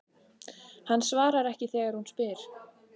Hann svarar ekki þegar hún spyr.